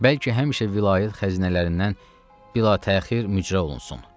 Bəlkə həmişə vilayət xəzinələrindən bilatəxir mücra olunsun.